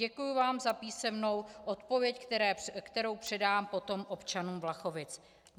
Děkuji vám za písemnou odpověď, kterou předám potom občanům Vlachovic.